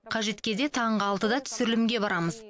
қажет кезде таңғы алтыда түсірілімге барамыз